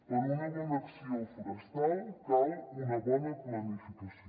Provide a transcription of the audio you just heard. per a una bona acció forestal cal una bona planificació